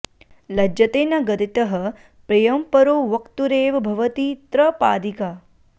लज्जते न गदितः प्रियं परो वक्तुरेव भवति त्रपाधिका